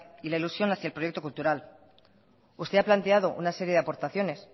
y la ilusión hacia el proyecto cultural usted ha planteado una serie de aportaciones